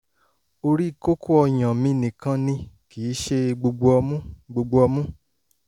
orí kókó ọyàn mi nìkan ni kì í ṣe gbogbo ọmú gbogbo ọmú